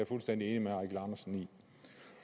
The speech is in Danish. fuldstændig enig med